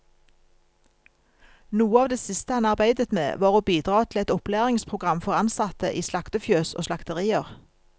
Noe av det siste han arbeidet med, var å bidra til et opplæringsprogram for ansatte i slaktefjøs og slakterier.